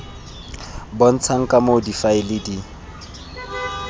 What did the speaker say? bontshang ka moo difaele di